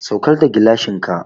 Saukar da gilashin ka!